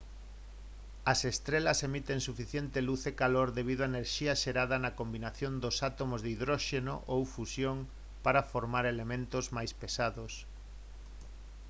as estrelas emiten suficiente luz e calor debido á enerxía xerada na combinación dos átomos de hidróxeno ou fusión para formar elementos máis pesados